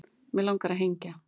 Mig langar að hengja